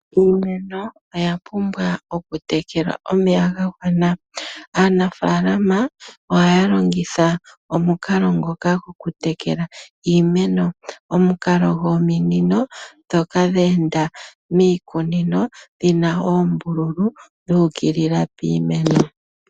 Iimeno oya pumbwa okutekelwa omeya ga gwana, aanafaalama ohaya longitha omukalo ngoka gwoku tekela iimeno. Omukalo gwominino dhoka dha enda miikunino dhi na oombululu dhu ukilila piimeno.